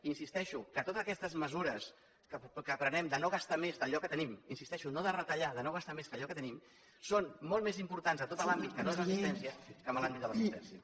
insisteixo que totes aquestes mesures que prenem de no gastar més d’allò que tenim hi insisteixo no de retallar de no gastar més que allò que tenim són molt més importants a tot l’àmbit que no és l’assistència que en l’àmbit de l’assistència